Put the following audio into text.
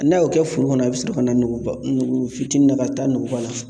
N'a y'o kɛ foro kɔnɔ a bɛ sɔrɔ ka na nogo fitinin dɔ ka taa nuguba la.